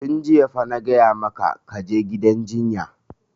Tun jiya fa na gaya maka ka je gidan jinya!